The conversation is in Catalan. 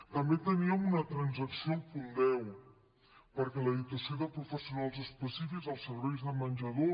també teníem una transacció al punt deu perquè la dotació de professionals específics als serveis de menjador